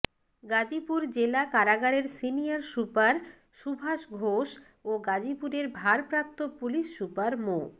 গাজীপুর জেলা কারাগারের senior super Subhash Ghosh ও গাজীপুরের ভারপ্রাপ্ত পুলিশ সুপার মো